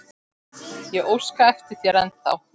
Ég óska eftir þér ennþá.